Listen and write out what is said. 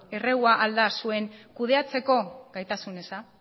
errua ahal da zuen kudeatzeko gaitasun eza